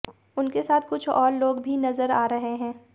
उसके साथ कुछ लोग और भी नजर आ रहे हैं